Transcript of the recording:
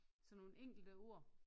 Sådan nogle enkelte ord